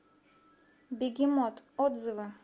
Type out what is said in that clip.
бегемот отзывы